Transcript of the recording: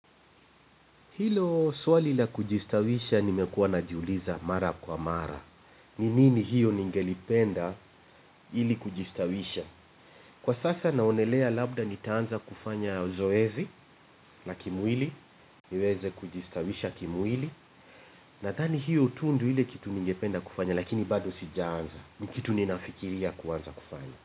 Hilo swali la kujistawisha nimekuwa najiuliza mara kwa mara. Ni nini hiyo ningelipenda ili kujistawisha. Kwa sasa naonelea labda nitaanza kufanya zoezi la kimwili. Niweze kujistawisha kimwili. Nadhani hiyo tu ndio ile kitu ningependa kufanya lakini bado sijaanza. Ni kitu ninafikiria kuanza kufanya.